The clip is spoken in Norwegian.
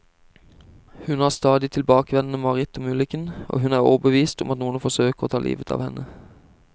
Hun har stadig tilbakevendende mareritt om ulykken, og hun er overbevist om at noen forsøker å ta livet av henne.